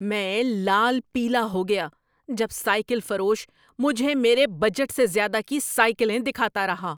میں لال پیلا ہو گیا جب سائیکل فروش مجھے میرے بجٹ سے زیادہ کی سائیکلیں دکھاتا رہا۔